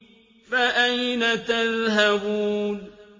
فَأَيْنَ تَذْهَبُونَ